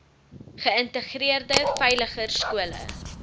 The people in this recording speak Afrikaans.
geïntegreerde veiliger skole